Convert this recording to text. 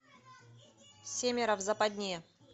семеро в западне